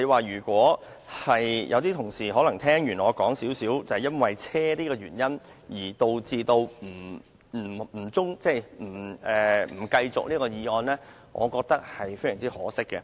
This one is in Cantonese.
如果有些同事因聽完我講述有關汽車的原因而想中止處理這項決議案的程序，我認為十分可惜。